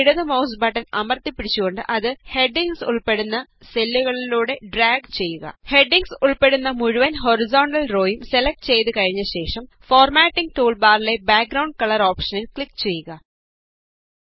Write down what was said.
ഇനി ഇടത് mouse button അമര്ത്തിപ്പിടിച്ചുകൊണ്ട് അത് ഹെഡിംഗ്സ് ഉള്പ്പെടുന്ന സെല്ലുകളിലൂടെ ഡ്രാഗ് ചെയ്യുക ഹെഡിംഗ് ഉള്പ്പെടുന്ന മുഴുവന് ഹോറിസോണ്ടല് റോ യും സെലക്ട് ചെയ്തു കഴിഞ്ഞ ശേഷം ഫോര്മാറ്റിംഗ് ടൂള് ബാറിലെ ബാക് ഗ്രൌണ്ഡ് കളര് ഓപ്ഷനില് ക്ലിക് ചെയ്യുക